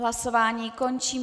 Hlasování končím.